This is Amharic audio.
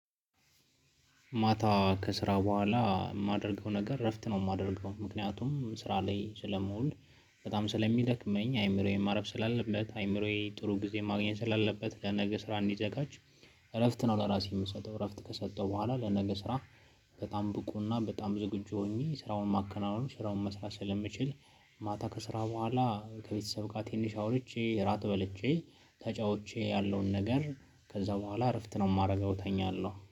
ማታ ከስራ በኋላ የማደርገው ነገር እረፍት ነው የማደርገው ምክንያቱም ስራ ላይ ስለመውል በጣም ስለሚደክመኝ አይምሮዬን ማረፍ ስላለበት፤ አይምሮዬ ጥሩ ጊዜ ማግኘት ስላለበት፤ ለነገ ስራ እንዲዘጋጅ እረፍት ነው ለራሴ የምሰጠው እረፍት ከሰጠው በኋላ ለነገ ስራ በጣም ብቁና በጣም ዝግጁ ሆኜ ስራውን ማከናወን ስራውን መስራት ስለምችል ማታ ከስራ በኋላ ከቤተሰብ ጋር ትንሽ አውርቼ፤ እራት በልቼ፤ ተጫውቼ ያለውን ነገር ከዛ በኋላ እረፍት ነው የማደርገው እተኛለሁ።